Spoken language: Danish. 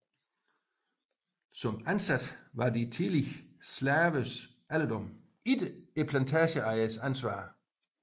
Som ansatte var de tidligere slavers alderdom ikke plantageejernes ansvar